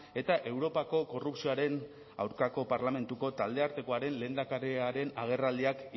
eta europako korrupzioaren aurkako parlamentuko taldeartekoaren lehendakariaren agerraldiak